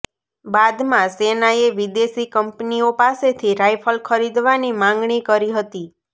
બાદમાં સેનાએ વિદેશી કંપનીઓ પાસેથી રાઈફલ ખરીદવાની માગણી કરી હતી